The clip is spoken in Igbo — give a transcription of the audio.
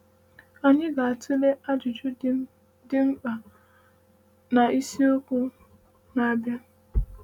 “Anyị ga-atụle ajụjụ dị dị mkpa a na isiokwu na-abịa.”